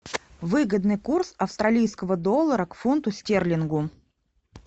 выгодный курс австралийского доллара к фунту стерлингу